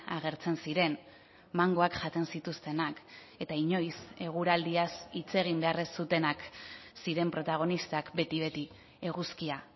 agertzen ziren mangoak jaten zituztenak eta inoiz eguraldiaz hitz egin behar ez zutenak ziren protagonistak beti beti eguzkia